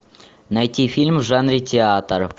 найти фильм в жанре театр